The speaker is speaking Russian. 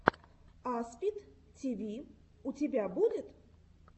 аспид тиви у тебя будет